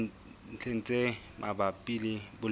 dintlheng tse mabapi le boleng